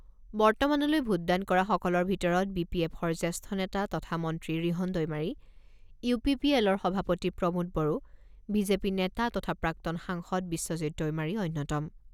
বৰ্তমানলৈ ভোটদান কৰাসকলৰ ভিতৰত বি পি এফৰ জ্যেষ্ঠ নেতা তথা মন্ত্ৰী ৰিহণ দৈমাৰী, ইউ পি পি এলৰ সভাপতি Pramod Boro, BJP নেতা তথা প্ৰাক্তন সাংসদ বিশ্বজিৎ দৈমাৰী অন্যতম।